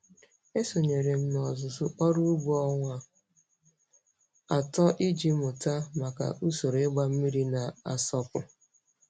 Esonyere m ọzụzụ ọrụ ugbo ọnwa atọ iji mụta maka usoro ịgba mmiri na-asọpu.